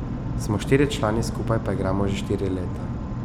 Smo štirje člani, skupaj pa igramo že štiri leta.